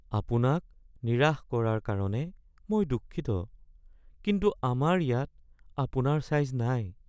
আপোনাক নিৰাশ কৰাৰ কাৰণে মই দুঃখিত, কিন্তু আমাৰ ইয়াত আপোনাৰ ছাইজ নাই।